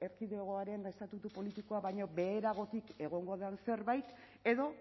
erkidegoaren estatutu politikoa baino beheragotik egongo den zerbait edo